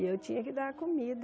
E eu tinha que dar a comida.